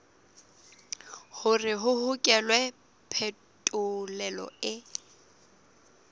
hore ho hokelwe phetolelo e